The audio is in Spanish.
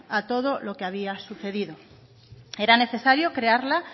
a todo lo que había sucedido era necesario crearla